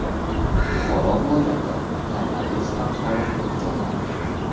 Buxoro viloyati koronavirusdan xoli hududga aylandi .